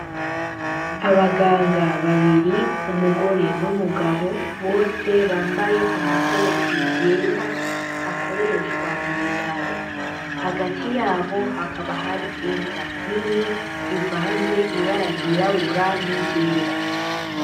Abaganga babiri umugore n'umugabo bose bambaye amakoti yera akoreshwa m'ubitarohagati yabo hakaba hari imbwa nini ivanze ibara ry'irabura n'iryera.